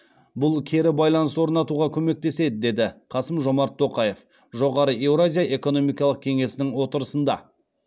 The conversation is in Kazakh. бұл кері байланыс орнатуға көмектеседі деді қасым жомарт тоқаев жоғары еуразия экономикалық кеңесінің отырысында